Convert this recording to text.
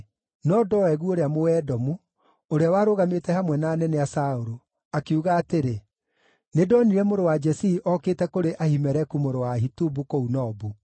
No Doegu ũrĩa Mũedomu, ũrĩa warũgamĩte hamwe na anene a Saũlũ, akiuga atĩrĩ, “Nĩndonire mũrũ wa Jesii okĩte kũrĩ Ahimeleku mũrũ wa Ahitubu kũu Nobu.